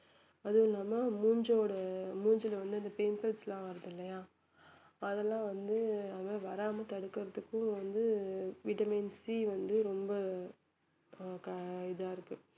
அதுவும் இல்லாம மூஞ்சோட மூஞ்சில வந்து அந்த pimples லாம் வருது இல்லையா அதெல்லாம் வந்து அது மாதிரி வராமல் தடுக்கிறதுக்கும் வந்து vitamin C வந்து ரொம்ப ஆஹ் கா~ இதா இருக்கு